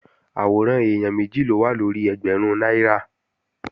Àwòrán èèyàn méjì ló wà lórí ẹgbẹ̀rún náírà